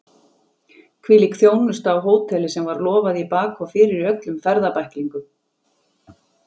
Hvílík þjónusta á hóteli sem var lofað í bak og fyrir í öllum ferðabæklingum!